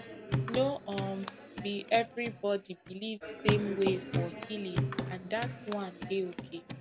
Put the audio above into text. no um be everybody believe same way for healing and dat one dey okay